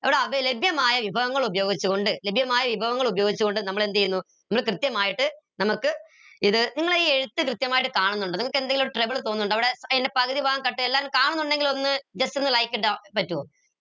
ലഭ്യമായ വിഭവങ്ങൾ ഉപയോഗിച്ചുകൊണ്ട് ലഭ്യമായ വിഭവങ്ങൾ ഉപയോഗിച്ചുകൊണ്ട് നമ്മൾ എന്ത് ചെയ്യുന്നു നമ്മൾ കൃത്യമായിട്ട് നമുക്ക് ഇത് നമ്മളെ ഈ എഴുത്ത് കൃത്യമായിട്ട് കാണുന്നിണ്ടോ നിങ്ങൾക്ക് എന്തേലും trouble തോന്നിന്നിണ്ടോ അവിടെ ഏർ പകുതി ഭാഗം അല്ലാണ്ട് കാണുന്നിണ്ടങ്ങിൽ ഒന്ന് just ഒന്ന് like ഇടാൻ പറ്റുവോ